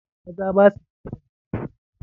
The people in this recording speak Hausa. Maza ba su ɗaukan ciki.